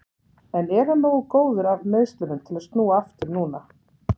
En er hann nógu góður af meiðslunum til að snúa aftur núna?